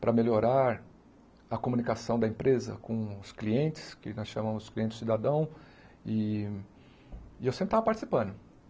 para melhorar a comunicação da empresa com os clientes, que nós chamamos cliente cidadão, e e eu sempre estava participando.